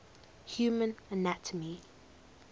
human anatomy